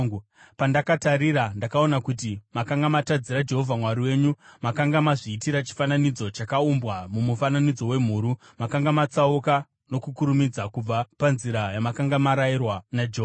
Pandakatarira, ndakaona kuti makanga matadzira Jehovha Mwari wenyu; makanga mazviitira chifananidzo chakaumbwa mumufananidzo wemhuru. Makanga matsauka nokukurumidza kubva panzira yamakanga marayirwa naJehovha.